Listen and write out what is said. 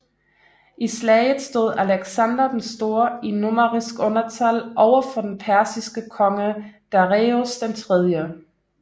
I slaget stod Alexander Den Store i numerisk undertal over for den persiske konge Dareios 3